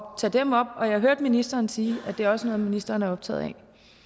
tage dem op og jeg hørte ministeren sige at det også er noget ministeren er optaget af